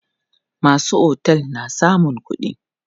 Masu otel na samun kuɗi.